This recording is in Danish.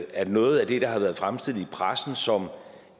at noget af det der har været fremstillet i pressen som